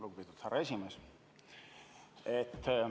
Lugupeetud härra esimees!